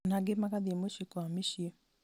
ona angĩ magathiĩ mũciĩ kwa miciĩ